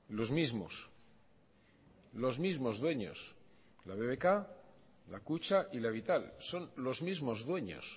los mismos los mismos dueños la bbk la kutxa y la vital son los mismos dueños